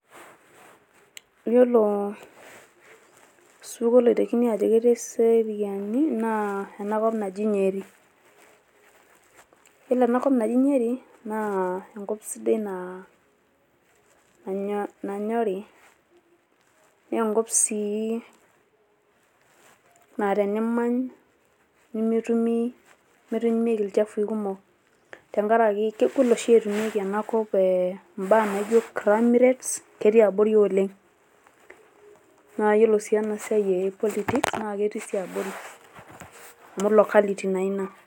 Yilolo osupuko loitekini aajo ketii eseriani naa ena kop naji Nyeri. Yiolo ena kop naji Nyeri naa enkop sidai naa nanyori. Naa enkop sii naa tenimany nemetumi nemetumieki ilchafui kumok tenkaraki kegol oshi etumieki ena kop imbaa naijo crime rates ketii abori oleng. Naa iyiolo sii enaa siai e politics naa ketii sii abori amu locality naa ina.